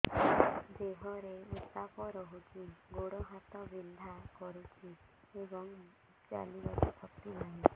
ଦେହରେ ଉତାପ ରହୁଛି ଗୋଡ଼ ହାତ ବିନ୍ଧା କରୁଛି ଏବଂ ଚାଲିବାକୁ ଶକ୍ତି ନାହିଁ